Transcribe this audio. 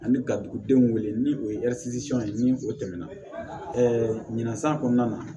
Ani ka dugudenw wele ni o ye ni o tɛmɛna ɲinan san kɔnɔna na